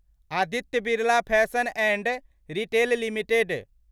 Aditya Birla fashion and retail limited